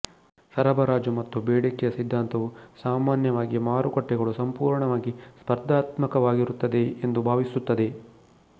ಸರಬರಾಜು ಮತ್ತು ಬೇಡಿಕೆಯ ಸಿದ್ಧಾಂತವು ಸಾಮಾನ್ಯವಾಗಿ ಮಾರುಕಟ್ಟೆಗಳು ಸಂಪೂರ್ಣವಾಗಿ ಸ್ಪರ್ಧಾತ್ಮಕವಾಗಿರುತ್ತವೆ ಎಂದು ಭಾವಿಸುತ್ತದೆ